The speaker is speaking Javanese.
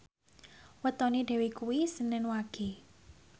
wetone Dewi kuwi senen Wage